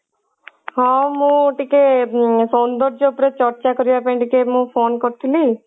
ହଁ ମୁଁ ଟିକେ ଉଁ ସୌନ୍ଦର୍ଯ୍ୟ ଉପରେ ଚର୍ଚା କରିବା ପାଇଁ ଟିକେ ମୁଁ phone କରିଥିଲି